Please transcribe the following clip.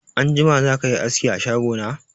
Anjima zakayi aski a shago na?